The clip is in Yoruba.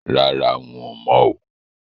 Rárá, n ò mọ̀ o